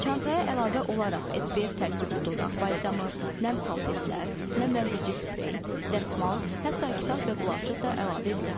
Çantaya əlavə olaraq SPF tərkibli dodaq balzamı, nəm salfetlər, nəmləndirici sprey, dəsmal, hətta kitab və qulaqcıq da əlavə edilə bilər.